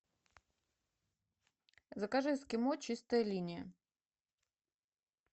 закажи эскимо чистая линия